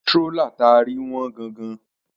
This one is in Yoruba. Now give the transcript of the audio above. Strólà ta rí wọ́n gan-an